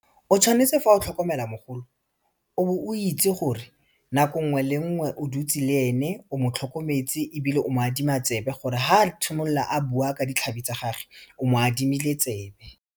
O tshwanetse fa o tlhokomela mogolo o bo o itse gore nako nngwe le nngwe o dutse le ene o mo tlhokometse ebile o mo adima tsebe gore ha a tshimolola a bua ka ditlhabi tsa gage o mo adimile tsebe.